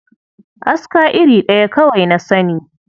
Aska iri ɗaya kawai na sani.